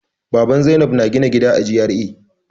Baban Zainab na gina gida a G.R.A.